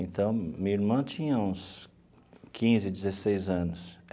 Então, minha irmã tinha uns quinze, dezesseis anos.